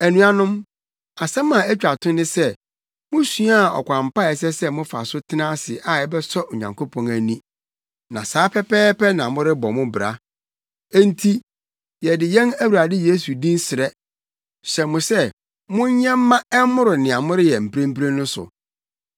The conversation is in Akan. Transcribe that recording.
Anuanom, asɛm a etwa to ne sɛ musuaa ɔkwan pa a ɛsɛ sɛ mofa so tena ase a ɛbɛsɔ Onyankopɔn ani. Na saa pɛpɛɛpɛ na morebɔ mo bra. Enti yɛde yɛn Awurade Yesu din srɛ, hyɛ mo sɛ monyɛ mma ɛmmoro nea moreyɛ mprempren no so.